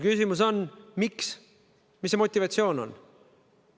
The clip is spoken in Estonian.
Küsimus on: mis on selle motivatsioon?